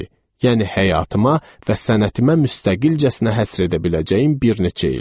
Yəni həyatıma və sənətimə müstəqilcəsinə həsr edə biləcəyim bir neçə il.